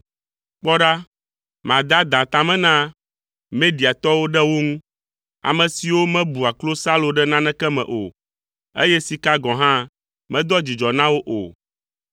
Kpɔ ɖa, made adã ta me na Mediatɔwo ɖe wo ŋu; ame siwo mebua klosalo ɖe naneke me o, eye sika gɔ̃ hã medoa dzidzɔ na wo o.